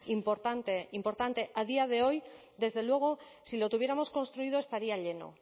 importante importante a día de hoy desde luego si lo tuviéramos construido estaría lleno